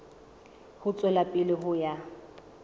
ho tswela pele ho ya